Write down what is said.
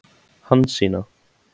Hansína